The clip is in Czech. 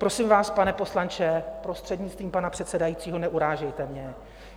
Prosím vás, pane poslanče, prostřednictvím pana předsedajícího, neurážejte mě.